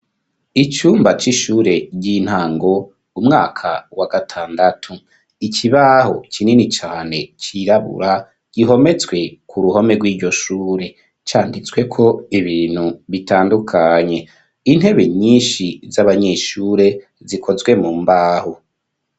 Icumba c'ishure ry'intango, umwaka wa gatandatu, ikibaho kinini cane cirabura gihometswe ku ruhome rwiryo shure, canditsweko ibintu bitandukanye, intebe nyinshi z'abanyeshure zikozwe mu mbaho.